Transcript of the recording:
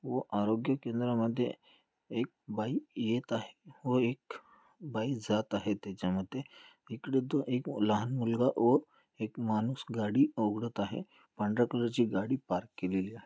व आरोग्य केंद्रामध्ये एक बाई येत आहे व एक बाई जात आहे त्याच्यामध्ये. इकडं एक लहान मुलगा व एक माणूस गाडी उघडत आहे. पांढर्‍या कलरची गाडी पार्क केलेली आहे.